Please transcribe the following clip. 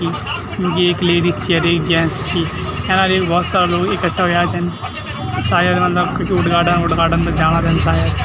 थि येक लेडीज छी अर एक जेंट्स छी एैणा येत भोत सारा लोग इकठ्ठा हुयां छन सायद मतलब कखी उद्घाटन वुदघाटन जाणा रेंद सायद।